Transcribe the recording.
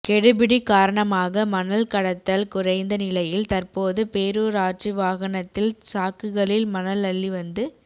கெடுபிடி காரணமாக மணல் கடத்தல் குறைந்த நிலையில் தற்போது பேரூராட்சி வாகனத்தில் சாக்குகளில் மணல் அள்ளி வந்து